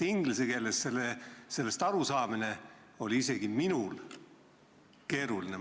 Inglise keeles sellest sisust aru saada on isegi minul keeruline olnud.